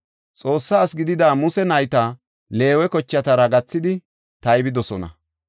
Xoossa ase gidida Muse nayta Leewe kochatara gathidi taybidosona.